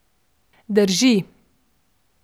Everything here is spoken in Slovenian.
Drži.